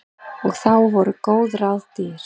Og þá voru góð ráð dýr.